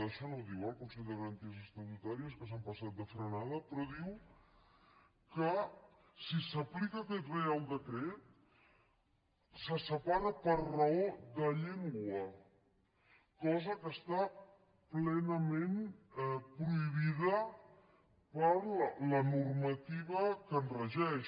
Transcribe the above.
això no ho diu el consell de garan ties estatutàries que s’han passat de frenada però diu que si s’aplica aquest reial decret se separa per raó de llengua cosa que està plenament prohibida per la normativa que el regeix